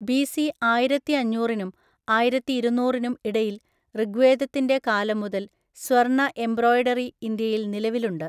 BC ആയിരത്തിഅഞ്ഞൂറിനും ആയിരത്തിഇരുന്നൂരിനും ഇടയിൽ ഋഗ്വേദത്തിന്റെ കാലം മുതൽ സ്വർണ്ണ എംബ്രോയ്ഡറി ഇന്ത്യയിൽ നിലവിലുണ്ട്.